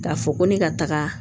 K'a fɔ ko ne ka taga